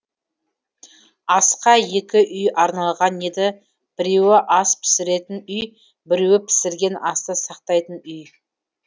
асқа екі үй арналған еді біреуі ас пісіретін үй біреуі пісірген асты сақтайтын үй